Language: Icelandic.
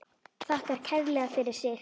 Þakkar kærlega fyrir sig.